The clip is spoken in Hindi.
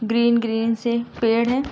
ग्रीन - ग्रीन से पेड़ हैं।